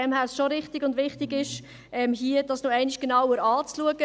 Daher ist es richtig und wichtig, dies noch einmal genauer anzuschauen.